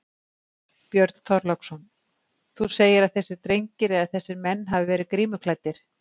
Björn Þorláksson: Þú segir að þessir drengir eða þessir menn hafi verið grímuklæddir?